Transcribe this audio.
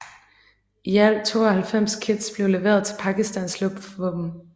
I alt 92 kits blev leveret til Pakistans Luftvåben